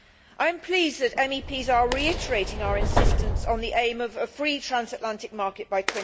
I am pleased that MEPs are reiterating our insistence on the aim of a free transatlantic market by